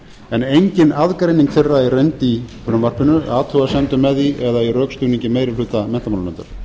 en engin aðgreining þeirra er reynd í frumvarpinu athugasemdum með því eða í rökstuðningi meiri hluta menntamálanefndar